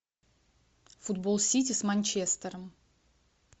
футбол сити с манчестером